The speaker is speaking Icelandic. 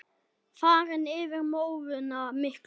Farinn yfir móðuna miklu.